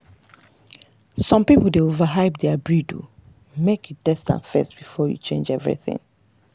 some people dey overhype their breed—make you test am first before you change everything.